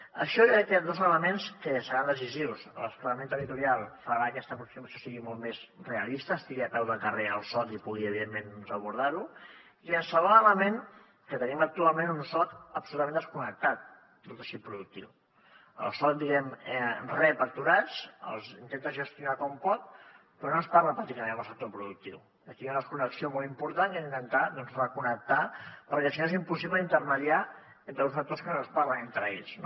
en això hi ha aquests dos elements que seran decisius el desplegament territorial farà que aquesta aproximació sigui molt més realista estigui a peu de carrer el soc i pugui evidentment abordar ho i el segon element que tenim actualment un soc absolutament desconnectat del teixit productiu el soc rep aturats els intenta gestionar com pot però no es parla pràcticament en el sector productiu aquí hi ha una desconnexió molt important que hem d’intentar doncs reconnectar perquè si no és impossible intermediar entre uns actors que no es parlen entre ells no